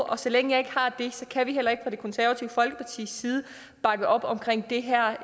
og så længe jeg ikke har det så kan vi heller ikke fra det konservative folkepartis side bakke op om det her